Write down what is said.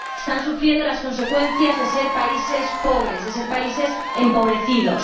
Están sufriendo las consecuencias de ser países pobres, de ser países empobrecidos.